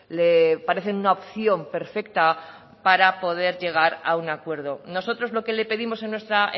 le parecen una opción perfecta para poder llegar a un acuerdo nosotros lo que le pedimos en nuestra